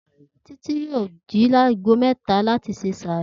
Títí yóò jí ní aago mé̩ta láti se sààrì